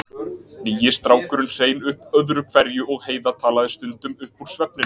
Nýi strákurinn hrein upp öðru hverju og Heiða talaði stundum upp úr svefninum.